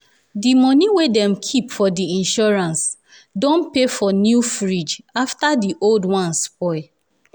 di money wey dem keep for the insurance don pay for new fridge afta di old one spoil.